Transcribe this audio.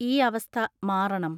ഈ അവസ്ഥ മാറണം.